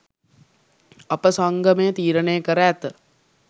අප සංගමය තීරණය කර ඇත